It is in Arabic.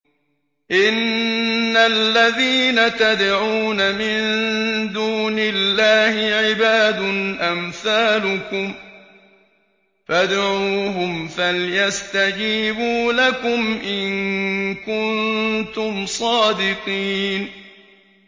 إِنَّ الَّذِينَ تَدْعُونَ مِن دُونِ اللَّهِ عِبَادٌ أَمْثَالُكُمْ ۖ فَادْعُوهُمْ فَلْيَسْتَجِيبُوا لَكُمْ إِن كُنتُمْ صَادِقِينَ